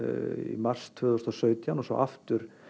í mars tvö þúsund og sautján og svo aftur